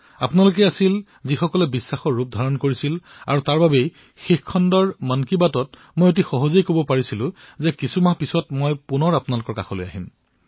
আপোনালোকেই আছিল যিয়ে বিশ্বাসৰ ৰূপ লৈছিল আৰু এই কাৰণতেই সহজ ৰূপত মই যেতিয়া শেষৰ বাৰৰ মন কী বাত কৈ দিছিলো যে কিছু মাহৰ পিছতেই মই আপোনালোকৰ কাষলৈ আহিম